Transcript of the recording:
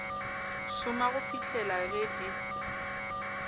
šoma go fihlela ge di